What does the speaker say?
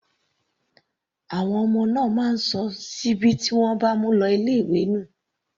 Àwọn ọmọ náà máa ń sọ síbí tí wọ́n bá mu lọ sí ilé ìwé nù.